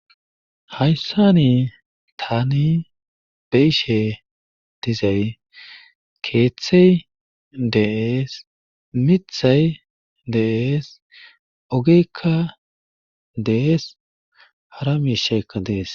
Hayssani taani beishe dizay keeththey deees mithay deees ogeekka dees harami sheekka dees.